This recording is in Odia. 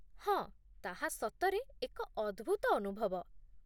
ହଁ, ତାହା ସତରେ ଏକ ଅଦ୍ଭୁତ ଅନୁଭବ